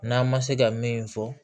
N'an ma se ka min fɔ